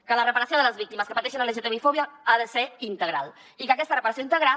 que la reparació de les víctimes que pateixen lgtbi fòbia ha de ser integral i que aquesta reparació integral